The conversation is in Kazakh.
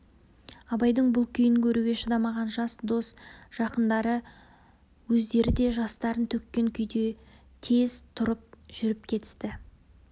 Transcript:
абайдың бұл күйін көруге шыдамаған жас дос жақындары өздері де жастарын төккен күйде тез тұрып жүріп кетісті